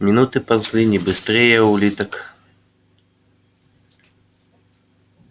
минуты ползли не быстрее улиток